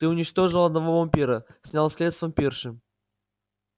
ты уничтожил одного вампира снял след с вампирши